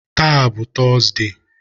Taa bụ Tọzdee